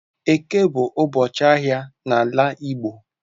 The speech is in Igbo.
Eke bu ubochi ahia n'ala igbo.